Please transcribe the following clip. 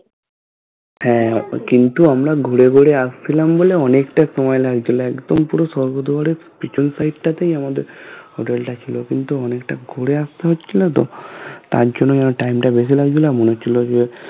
হ্যাঁ কিন্তু আমরা ঘুরে বেড়ে আসছিলাম বলে অনেকটা একদম পুরো সর্গদ্বারের পিছন side টাতে আমাদের hotel টা ছিল কিন্তু অনেকটা ঘুরে আসতে হচ্ছিলো তো তাই জন্যই time টা বেশি লাগছিলো আর মনে হচ্ছিলো যে